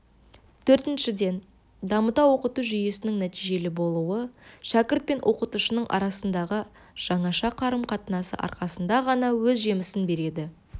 төртіншіден дамыта оқыту жүйесінің нәтижелі болуы шәкірт пен оқытушының арасындағы жаңаша қарым-қатынасы арқасында ғана өз жемісін береді